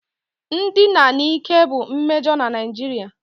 Ndina n'ike bụ mmejọ na Naijiria